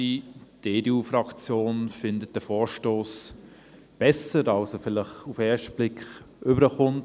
Die EDU-Fraktion findet den Vorstoss besser, als er vielleicht auf den ersten Blick rüberkommt.